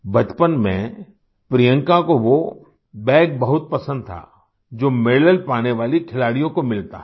बचपन में प्रियंका को वो बैग बहुत पसंद था जो मेडल पाने वाले खिलाड़ियों को मिलता है